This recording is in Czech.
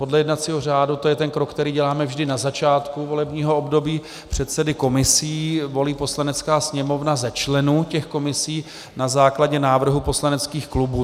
Podle jednacího řádu, to je ten krok, který děláme vždy na začátku volebního období, předsedy komisí volí Poslanecká sněmovna ze členů těch komisí na základě návrhu poslaneckých klubů.